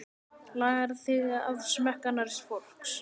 Lagaðir þig að smekk annars fólks.